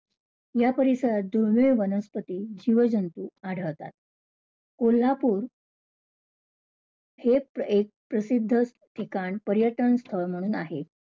या परिसरात दुर्मिळ वनस्पती, जीवजंतू आढळतात. कोल्हापूर हेच एक प्रसिद्ध ठिकाण पर्यटन स्थळ म्हणून आहे.